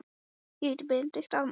Hann segir að þetta sé náttúruleysi.